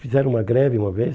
Fizeram uma greve uma vez.